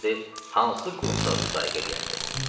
Olsaydı, hansı qurumsaq muzayəqə eləyərdi?